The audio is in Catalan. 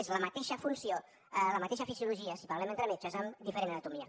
és la mateixa funció la mateixa fisiologia si parlem entre metges amb diferent anatomia